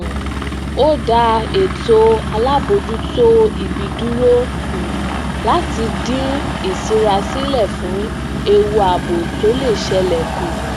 um ó da ètò alaboojutoibi dúró um láti dín iṣirasilẹ fun ewu ààbò tó le ṣẹle ku